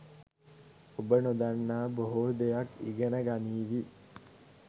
ඔබ නොදන්නා බොහෝ දෙයක් ඉගෙන ගනීවී